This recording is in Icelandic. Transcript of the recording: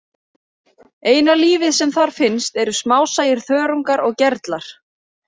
Eina lífið sem þar finnst eru smásæir þörungar og gerlar.